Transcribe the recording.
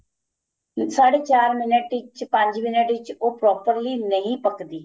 ਸਾਡੇ ਚਾਰ minute ਵਿੱਚ ਪੰਜ minute ਵਿੱਚ ਉਹ properly ਨਹੀਂ ਪਕਦੀ